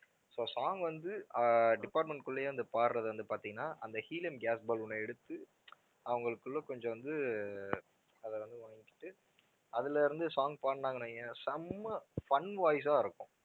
so song வந்து அஹ் department க்கு உள்ளேயே வந்து பாடுறது வந்து பார்த்தீன்னா அந்த ஈலியம் gas balloon அ எடுத்து அவங்களுக்குள்ள கொஞ்சம் வந்து அஹ் அதை வந்து வாங்கிக்கிட்டு அதுல இருந்து song பாடுனாங்கன்னு வையேன் செம்ம fun voice ஆ இருக்கும்